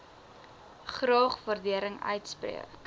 graag waardering uitspreek